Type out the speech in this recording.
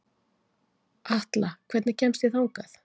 Atla, hvernig kemst ég þangað?